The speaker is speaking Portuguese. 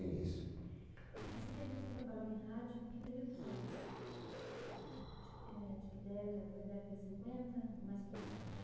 Esse período que você trabalhou em rádio, que período foi esse? Década de cinquenta ou mais para frente?